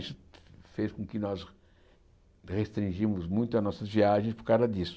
Isso fez com que nós restringimos muito as nossas viagens por causa disso.